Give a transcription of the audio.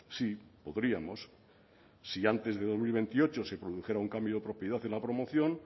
sí podríamos si antes de dos mil veintiocho se produjera un cambio de propiedad en la promoción